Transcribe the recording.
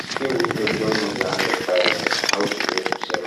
Siitiw ɗo jongiji ha nder fayande. Hauti be kusel